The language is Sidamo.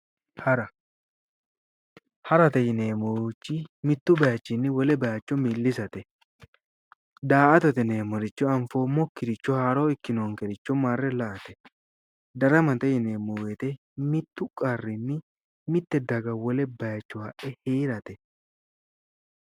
Hara, harate yinneemmorichi mitu bayichinni wole bayicho milisate ,daa"attate yinneemmorichi anfoommokkiricho haaro ikkinonkericho marre la"ate, daramate yinneemmo woyte mitu qarrinni mite daga wole bayicho hadhe heerate